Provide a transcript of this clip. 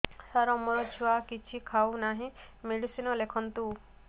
ସାର ମୋ ଛୁଆ କିଛି ଖାଉ ନାହିଁ ମେଡିସିନ ଲେଖନ୍ତୁ